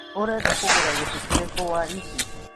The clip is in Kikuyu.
Ũrenda kũgũra gĩtĩ kĩrĩkũ wa ici.